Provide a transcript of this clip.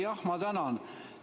Jah, ma tänan!